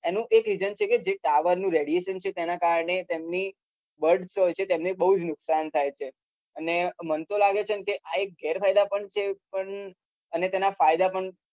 એનું એક reason એવું હતું કે tower નું radition તેના કારણે તેમની birds હોય છે તેમને બઉ નુકસાન થાય છે અને મન તો લગે છે ગેર ફાયદા પણ છે અને તેના ફાયદા પણ